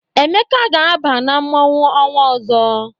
Emeka ga-aba na mmọnwụ ọnwa ọzọ.